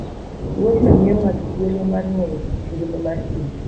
Wuodhno miyo ng'ato thuolo mar ng'eyo kit ngima mar thim.